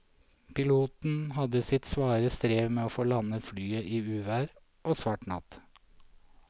Piloten hadde sitt svare strev med å få landet flyet i uvær og svart natt.